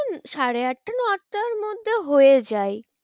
সাড়ে আটটা নটার মধ্যে হয়ে যায়।